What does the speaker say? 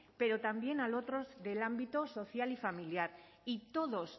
pero también a otros del ámbito social y familiar y todos